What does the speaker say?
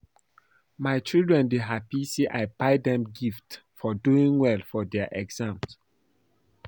My children dey happy say I buy dem gift for doing well for their exam